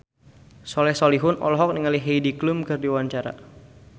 Soleh Solihun olohok ningali Heidi Klum keur diwawancara